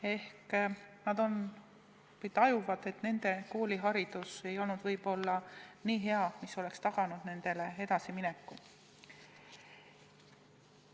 Ehk nad tajuvad, et nende kooliharidus ei ole võib-olla nii hea, mis oleks taganud nende edasimineku.